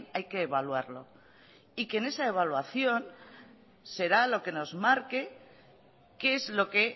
hay que evaluarlo y que esa evaluación será lo que nos marque qué es lo que